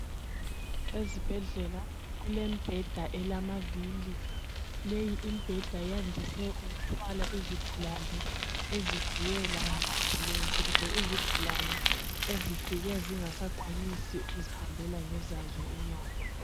ezibhedlela kulembheda elamavili leyi imbheda yandise ukuthwala izigulane ezibuye lama ambulence kumbe izigulane ezifike zingasasakwanisi ukuzihambela ngezazo inyawo